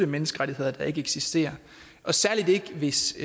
menneskerettigheder der ikke eksisterer særlig ikke hvis